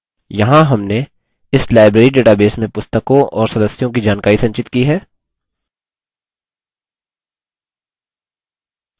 यहाँ हमने इस library database में पुस्तकों और सदस्यों की जानकारी संचित की है